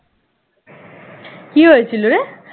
কি হয়েছিল রে